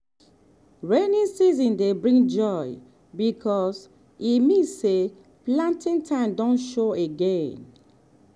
rainy season dey bring joy because e mean say planting time don show again.